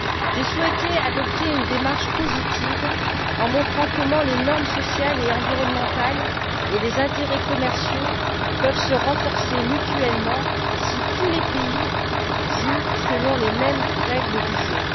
J'ai souhaité adopter une démarche positive en montrant comment les normes sociales et environnementales et les intérêts commerciaux peuvent se renforcer mutuellement si tous les pays jouent selon les mêmes règles du jeu.